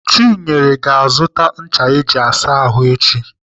Chinyere ga-azụta ncha eji asa ahụ echi.